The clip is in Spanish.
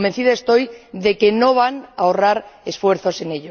Convencida estoy de que no van a ahorrar esfuerzos en